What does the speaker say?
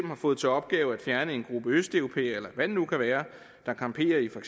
har fået til opgave at fjerne en gruppe af østeuropæere eller hvad det nu kan være der camperer i for